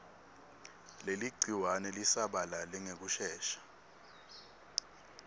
leligciwane lisabalale ngekushesha